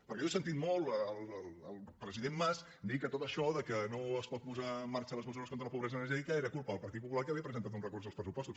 perquè jo he sentit molt el president mas dir que tot això que no es pot posar en marxa les mesures contra la pobresa energètica era culpa del partit popular que havia presentat un recurs als pressupostos